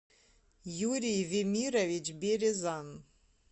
юрий вемирович березан